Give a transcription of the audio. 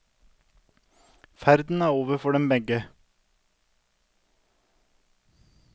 Ferden er over for dem begge.